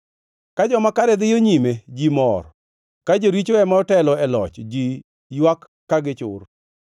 Ka joma kare dhiyo nyime, ji mor, ka joricho ema otelo e loch ji ywak ka gichur.